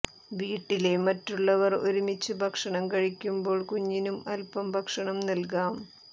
വീട്ടിലെ മറ്റുള്ളവർ ഒരുമിച്ച് ഭക്ഷണം കഴിയ്ക്കുമ്പോൾ കുഞ്ഞിനും അൽപ്പം ഭക്ഷണം നൽകാം